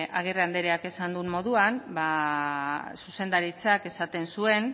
agirre andereak esan duen moduan ba zuzendaritzak esaten zuen